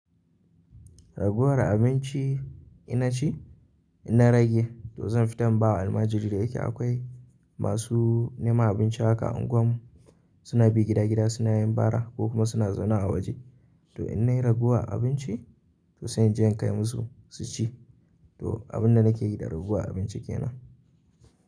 Raguwar abinci ina ci, ina rage to zan fita in bawa almajirai da yake akwai masu neman abinci haka a unguwar mu suna bi gida gida suna yin bara ko kuma suna zaune a waje to in nayi raguwar abinci to zan je in kai musu su ci to abun da nake gidan raguwarabinci kenan.